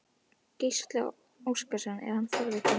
Gísli Óskarsson: Er hann forvitinn?